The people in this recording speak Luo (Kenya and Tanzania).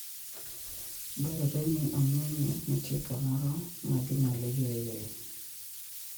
Dwarore ni ong'e ni nitie kamoro ma ginyalo yueyoe.